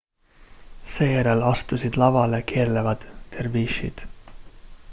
seejärel astusid lavale keerlevad dervišid